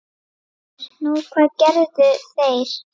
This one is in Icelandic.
GRÍMUR: Nú, hvað gerðu þeir?